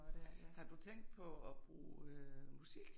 Har du tænkt på og bruge musik?